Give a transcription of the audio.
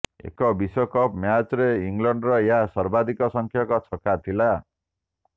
ଏକ ବିଶ୍ବକପ୍ ମ୍ୟାଚ୍ରେ ଇଂଲଣ୍ଡର ଏହା ସର୍ବାଧିକ ସଂଖ୍ୟକ ଛକା ଥିଲା